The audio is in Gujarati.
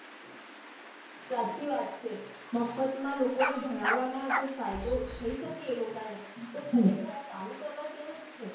સાચી વાત છે મફત માં લોકોને ભણવા માં જો ફાયદો થઇ શકે એ લોક ને તો ખરે ખાર ચાલુ કરવા જેવું છે.